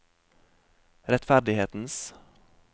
rettferdighetens